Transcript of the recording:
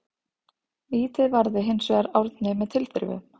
Vítið varði hinsvegar Árni með tilþrifum.